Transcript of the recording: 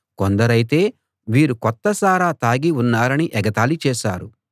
కొందరైతే వీరు కొత్త సారా తాగి ఉన్నారని ఎగతాళి చేశారు